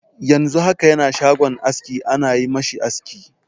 Yanzu haka yana shagon aski ana yi ma shi aski.